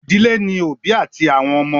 Ìdílé ní òbí àti àwọn ọmọ.